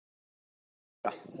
Þura